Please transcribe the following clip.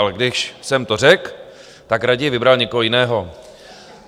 Ale když jsem to řekl, tak raději vybral někoho jiného.